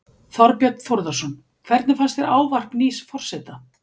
Þorbjörn Þórðarson: Hvernig fannst þér ávarp nýs forseta?